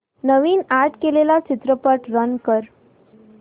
नवीन add केलेला चित्रपट run कर